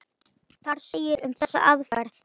Þar segir um þessa aðferð